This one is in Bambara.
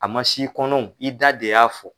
A ma s'i kɔnɔ o i da de y'a fɔ